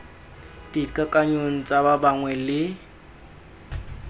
dikakanyong tsa ba bangwe le